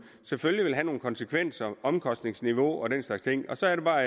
selvfølgelig have nogle konsekvenser for omkostningsniveau og den slags ting så er det bare